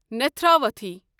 Netravathi